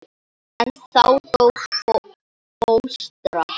En þá dó fóstra.